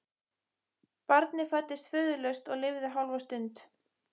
Barnið fæddist föðurlaust og lifði hálfa stund.